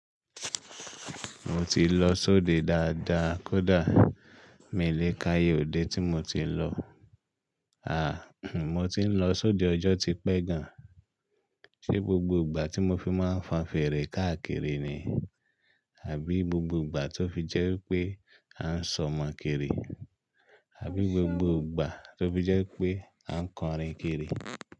Mo ti lọ sóde dáadáa, kódà mi lè ka iye òde tí mo ti lọ. À, mo ti ń lọ sóde ọjọ́ ti pẹ́ gan-an. Ṣé gbogbo ìgbà tí mo fi máa ń fan fèrè káàkiri ni? Àbí gbogbo ìgbà tó fi jẹ́ pé à ń sọmọ kiri? Àbí gbogbo ìgbà tó fi jẹ́ pé à ń kọrin kiri?